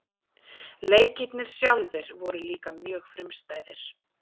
leikirnir sjálfir voru líka mjög frumstæðir